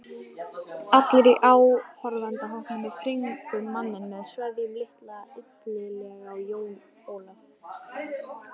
Allir í áhorfendahópnum í kringum manninn með sveðjuna litu illilega á Jón Ólaf.